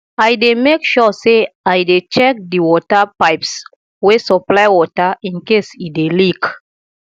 i dey mek sure say i dey check di water pipes wey supply water incase e dey leak